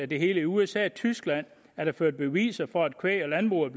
det hele i usa og tyskland er der ført beviser for at kvæg i landbruget